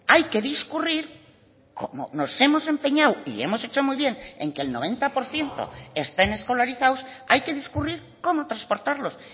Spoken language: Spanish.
hay que discurrir como nos hemos empeñado y hemos hecho muy bien en que el noventa por ciento estén escolarizados hay que discurrir cómo transportarlos